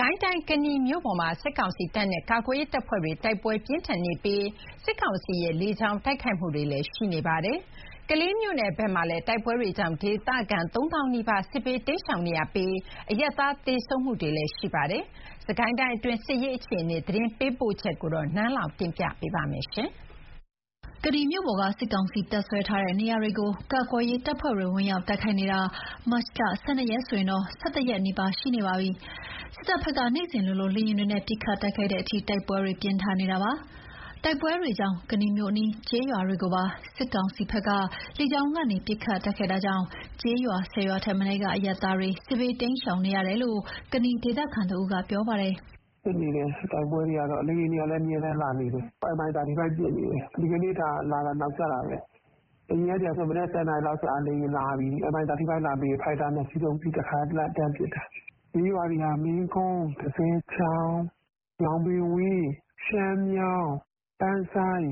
ကိုင်းတိုင်း ကနီမြို့ပေါ်မှာ စစ်ကောင်စီတပ်နဲ့ ကာကွယ်ရေးတပ်ဖွဲ့တွေ တိုက်ပွဲပြင်းထန်နေပြီး စစ်ကောင်စီက လေကြောင်းကနေလည်း တိုက်ခိုက်နေပါတယ်။ ကလေးမြို့နယ်ဘက်မှာလည်း တိုက်ပွဲတွေကြောင့် ဒေသခံ ၃ သောင်းနီးပါး စစ်ဘေး တိမ်းရှောင်နေရပြီး အရပ်သားတွေလည်း သေဆုံးတာတွေ ရှိပါတယ်။ စစ်ကိုင်းတိုင်းအတွင်း စစ်ရေးအခြေအနေ သတင်းပေးပို့ချက်ကို နန်းလောင်ဝ်က တင်ပြပေးထားပါတယ်။ ကနီမြို့ပေါ်က စစ်ကောင်စီ တပ်စွဲထားတဲ့နေရာတွေကို ကာကွယ်ရေးတပ်ဖွဲ့တွေ ဝင် ရောက်တိုက်ခိုက်နေတာ ဒီကနေ့ မတ်လ ၁၂ ရက်ဆိုရင် ၁၁ ရက်နီးပါး ရှိနေပါပြီ။ စစ်တပ်ဘက်က နေ့စဉ်လိုလို လေယာဉ်တွေနဲ့ ပစ်ခတ်တိုက်ခိုက်တဲ့အထိ တိုက်ပွဲတွေ ပြင်းထန်နေတာပါ။ တိုက်ပွဲတွေကြောင့် ကနီမြို့အနီး ကျေးရွာတွေကိုပါ စစ်တပ်ဘက်က လေကြောင်းကနေ ပစ်ခတ်တိုက်ခိုက်တာကြောင့် ကျေးရွာ ၁၀ ရွာထက်မနည်းကအရပ်သားတွေ စစ်ဘေးတိမ်းရှောင်နေရတယ်လို့ ကနီဒေသခံတဦးက ပြောပါတယ်။ “တိုက်ပွဲတွေကတော့ဖြစ်နေတယ်။ လေယာဉ်တွေကတော့ အမြဲတမ်းလာနေတယ်။ အခုကို Mi 35 ပစ်နေတယ်။ ဒီကနေ့လာတာ နောက်ကျတာပဲ။ အရင်နေ့ကဆို မနက် ၁၀ နာရီလောက်ဆို လေယာဉ်လာပြီ။ Mi35 လာပြီးပြီဆိုရင် ဖိုက်တာ ၂ စီးလာပြီး တခါတည်းတန်းပစ်တာ။ ပြေးနေရတာက မင်းကုန်း၊ တဇယ်ချောင်၊ ညောင်ပင်ဝန်း၊ ပန်းဆိုင်း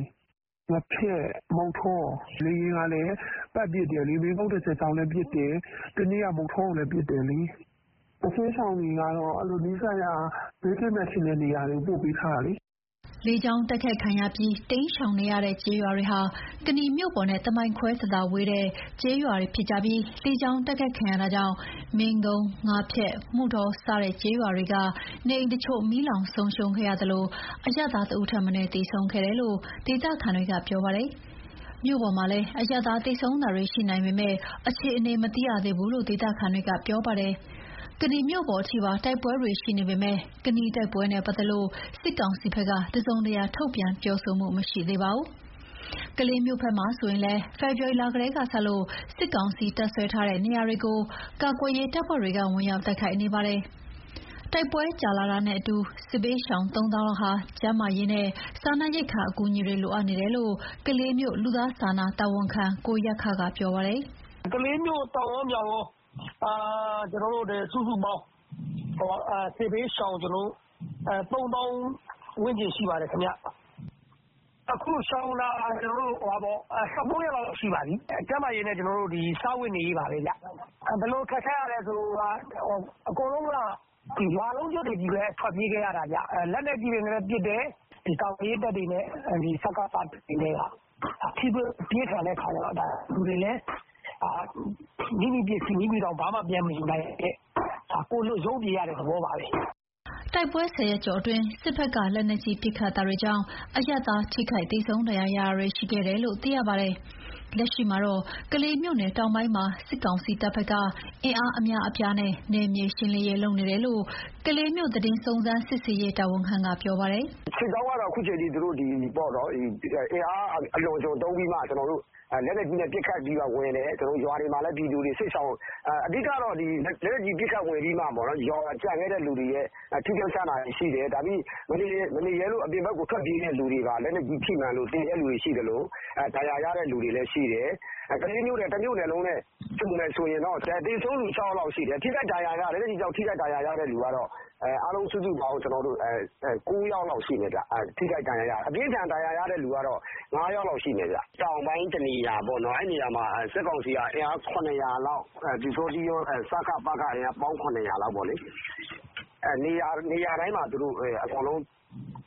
၊ ငါးဖျက်၊ မုဌော၊ လေယာဉ်က ပတ်ပစ်တယ်။ မင်းကုန်း တဇယ်ချောင်လည်း ပတ်ပစ်တယ်။ တနေ့က မုဌောကိုလည်း ပစ်တယ်လေ။ စစ်ဘေးရှောင်တွေက ဘေးကင်းမယ်ထင်တဲ့နေရာတွေကို ပို့ပေးထားတာ။” လေကြောင်းတိုက်ခိုက်ခံရပြီး တိမ်းရှောင်နေရတဲ့ကျေးရွာတွေဟာ ကနီမြို့ပေါ်နဲ့တမိုင်ခွဲသာသာလောက်ပဲ ဝေးတဲ့ကျေးရွာတွေဖြစ်ပြီး လေကြောင်း တိုက်ခိုက်ခံရတာကြောင့် မင်းကုန်း၊ ငါးဖျက်၊ မုဌော စတဲ့ကျေးရွာတွေက နေအိမ်တချို့ မီးလောင်ဆုံးရှုံးသလို အရပ်သားတဦးထက်မနည်းလည်း သေဆုံးခဲ့ပါတယ်လို့ ဒေသခံတွေကပြောပါတယ်။ မြို့ပေါ်မှာလည်း အရပ်သား သေဆုံးတာတွေရှိနိုင်ပေမယ့် အခြေအနေမသိရသေးဘူးလို့ ဒေသခံတွေက ပြောပါတယ်။ ကနီမြို့ပေါ်ထိပါ တိုက်ပွဲတွေရှိနေပေမယ့် ကနီတိုက်ပွဲနဲ့ပတ်သက်လို့ စစ်ကောင်စီဘက်က တစုံတရာ ထုတ်ပြန်ပြောဆိုမှု မရှိသေးပါဘူး။ ကလေးမြို့ဘက်မှာဆိုရင်လည်း ဖေဖော်ဝါရီလကတည်းကစလို့ စစ်ကောင်စီ တပ်စွဲထားတဲ့နေရာတွေကို ကာကွယ်ရေးတပ်ဖွဲ့တွေက ဝင်ရောက် တိုက်ခိုက်နေပါတယ်။ တိုက်ပွဲကြာတာနဲ့အမျှ စစ်ဘေးရှောင် ၃ သောင်းလောက်ဟာ ကျန်းမာရေးနဲ့ စားနပ်ရိက္ခာ အကူအညီတွေ လိုအပ်နေတယ်လို့ ကလေးမြို့ လူသားစာနာ တာဝန်ခံက ကိုယက္ခက ပြောပါတယ်။ “ကလေးမြို့ တောင်ကော မြောက်ကော စုစုပေါင်း စစ်ဘေးရှောင် ၃ သောင်း ဝန်းကျင်ရှိပါတယ်။ အခုရှောင်နေတာ ၁၉ ရက်လောက် ရှိပါပြီ။ ကျန်းမာရေးနဲ့ စားဝတ်နေရေးပါပဲခင်ဗျ။ ဘယ်လိုခက်ခဲတာလဲဆိုရင် အကုန်လုံးက ရွာလုံးကျွတ်တွေပဲ ထွက်ပြေးနေရတာ။ လက်နက်ကြီးတွေနဲ့ ပစ်တယ်။ ကာကွယ်ရေးတပ်တွေနဲ့ စကစတွေနဲ့က ထိတွေ့မှုပြင်းထန်တဲ့အခါကျတော့ လူတွေလည်း မိမိပစ္စည်းမိမိ ဘာမှ ပြန်မယူနိုင်ဘဲ ကိုယ်လွတ်ရုန်းပြေးရတဲ့ သဘောပါပဲ။” တိုက်ပွဲ ၁၀ ရက်ကျော်အတွင်း စစ်တပ်ဘက်က လက်နက်ကြီး ပစ်ခတ်တာတွေကြောင့် အရပ်သား ထိခိုက်သေဆုံး ဒဏ်ရာရတာတွေရှိခဲ့တယ်လို့ သိရပါတယ်။ လက်ရှိမှာတော့ ကလေးမြို့နယ်တောင်ပိုင်းမှာ စစ်ကောင်စီတပ်ဘက်က အင်အားအများအပြားနဲ့ နယ်မြေရှင်းနေတယ်လို့ ကလေးမြို့သတင်းစုံစမ်း စစ်ဆေးရေးတာဝန်ခံက ပြောပါတယ်။ “စစ်ကြောင်းကတော့ သူတို့ဘက်က အင်အားအလွန်အကျွံသုံးပြီးတော့ လက်နက်ကြီးနဲ့ ပစ်ခတ်ပြီးမှ ဝင်တယ်။ လက်နက်ကြီး ပစ်ခတ်ဝင်ပြီးမှ ကျန်တဲ့သူတွေရဲ့ ထိခိုက်ရှနာတာတွေရှိတယ်။ မနေရဲလို့ အပြင်ဘက်ကို ထွက်ပြေးတဲ့သူတွေပါ လက်နက်ကြီး ထိမှန်လို့ သေတဲ့သူတွေရှိသလို ဒဏ်ရာရတဲ့သူတွေလည်းရှိတယ်။ ကလေးမြို့နယ် တမြို့နယ်လုံးနဲ့ ခြုံမယ်ဆိုရင်တော့ သေဆုံးသူ ၆ ယောက်လောက်ရှိတယ်။ လက်နက်ကြီးကြောင့် ထိခိုက်ဒဏ်ရာရတာ အားလုံး စုစုပေါင်း ၉ ယောက်လောက်ရှိမယ်။ အပြင်းအထန် ဒဏ်ရာရတာ ၅ ယောက်လောက်ရှိမယ်။ တောင်ပိုင်းတနေရာပေါ့နော်။ စစ်ကောင်စီက အင်အား ၇၀၀ လောက်၊ ပျူစောထီးကော စကစ အင်အားကော ပေါင်း ၇၀၀ လောက်က နေရာတိုင်း အကုန်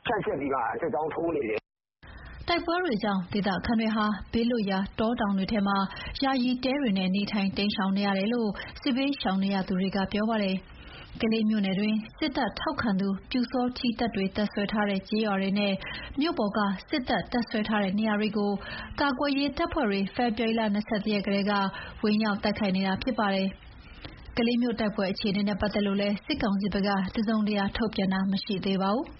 ဖြန့်ကျက်ပြီးမှ စစ်ကြောင်းထိုးနေတယ်။” တိုက်ပွဲတွေကြောင့် ဒေသခံတွေဟာ ဘေးလွတ်ရာ တောတောင်တွေထဲမှာ ယာယီတဲတွေနဲ့ နေထိုင် တိမ်းရှောင်နေရတယ်လို့ စစ်ဘေးရှောင်နေရသူတွေက ပြောပါတယ်။ ကလေးမြို့နယ်တွင်း စစ်တပ်ထောက်ခံတဲ့ ပျူစောထီးတပ်တွေ တပ်စွဲထားတဲ့ကျေးရွာတွေနဲ့၊ မြို့ပေါ်က စစ်တပ်တပ်စွဲထားတဲ့နေရာတွေကို ကာကွယ်ရေး တပ်ဖွဲ့တွေက ဖေဖော်ဝါရီ ၂၁ ရက်ကတည်းက ဝင်ရောက်တိုက်ခိုက်နေတာ ဖြစ်ပါတယ်။ ကလေးမြို့တိုက်ပွဲအခြေအနေနဲ့ပတ်သက်လို့လည်း စစ်ကောင်စီဘက်က တစုံတရာထုတ်ပြန်တာ မရှိသေးပါဘူး။